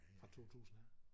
Fra 2000 af